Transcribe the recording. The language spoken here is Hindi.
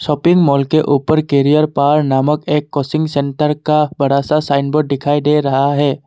शॉपिंग मॉल के ऊपर करियर पर नामक एक कोचिंग सेंटर का बड़ा सा साइन बोर्ड दिखाई दे रहा है।